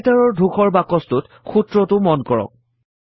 Writer ৰ ধূসৰ বাকছটোত সূত্ৰটো মন কৰক